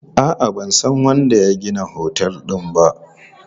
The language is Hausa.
A'a, ban san wanda ya gina otel din ba.